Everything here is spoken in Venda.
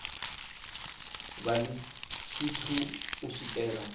vha ḽi tshithu u swikela